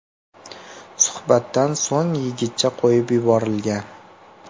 Suhbatdan so‘ng yigitcha qo‘yib yuborilgan.